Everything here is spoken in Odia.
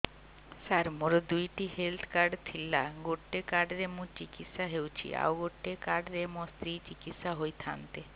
ସାର ମୋର ଦୁଇଟି ହେଲ୍ଥ କାର୍ଡ ଥିଲା ଗୋଟେ କାର୍ଡ ରେ ମୁଁ ଚିକିତ୍ସା ହେଉଛି ଆଉ ଗୋଟେ କାର୍ଡ ରେ ମୋ ସ୍ତ୍ରୀ ଚିକିତ୍ସା ହୋଇଥାନ୍ତେ